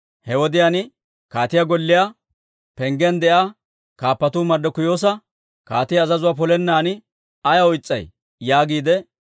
He wodiyaan kaatiyaa golliyaa penggiyaan de'iyaa kaappatuu Marddikiyoosa, «Kaatiyaa azazuwaa polennan ayaw is's'ay?» yaagiide,